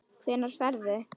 Hvenær ferðu?